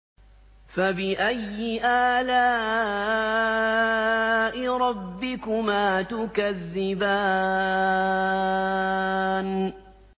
فَبِأَيِّ آلَاءِ رَبِّكُمَا تُكَذِّبَانِ